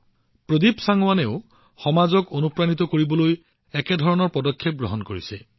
প্ৰদীপ চাংৱানজীয়েও সমাজক অনুপ্ৰাণিত কৰিবলৈ এনে কাম হাতত লৈছে